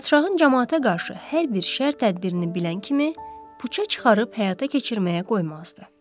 Padşahın camaata qarşı hər bir şər tədbirini bilən kimi puça çıxarıb həyata keçirməyə qoymazdı.